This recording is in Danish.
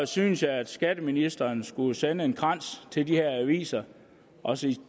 synes jeg at skatteministeren skulle sende en krans til de her aviser og sige